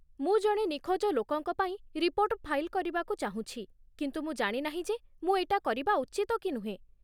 ମୁଁ ଜଣେ ନିଖୋଜ ଲୋକଙ୍କ ପାଇଁ ରିପୋର୍ଟ ଫାଇଲ କରିବାକୁ ଚାହୁଁଛି କିନ୍ତୁ ମୁଁ ଜାଣି ନାହିଁ ଯେ ମୁଁ ଏଇଟା କରିବା ଉଚିତ କି ନୁହେଁ ।